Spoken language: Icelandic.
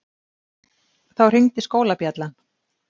Þá hringdi skólabjallan.